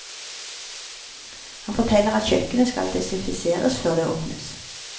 Han forteller at kjøkkenet skal desinfiseres før det åpnes.